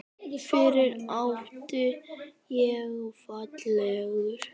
FYRRUM ÁTTI ÉG FALLEG GULL